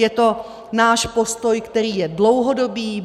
Je to náš postoj, který je dlouhodobý.